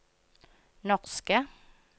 norske